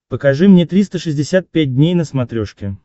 покажи мне триста шестьдесят пять дней на смотрешке